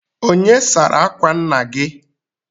Onye sara akwa nna gị?